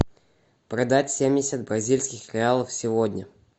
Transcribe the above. продать семьдесят бразильских реалов сегодня